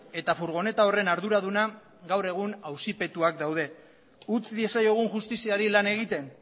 eta furgoneta horren arduraduna gaur egun auzipetuak daude utz diezaiogun justiziari lan egiten